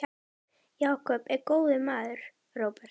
Jakob er góður maður, Róbert.